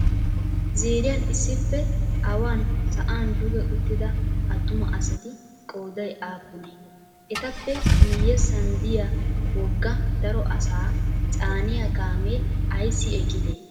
Ziiriyan issippe awan sa'an duge uttida attuma asati qooday aappunee? Etappe miyyessan diya wogga daro asaa caaniya kaamee ayissi eqqidee?